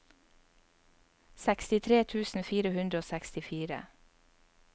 sekstitre tusen fire hundre og sekstifire